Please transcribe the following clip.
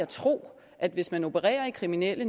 tro at hvis man opererer i kriminelle